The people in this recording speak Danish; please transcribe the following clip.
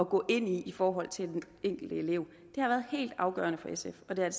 gå ind i i forhold til den enkelte elev det har været helt afgørende for sf og det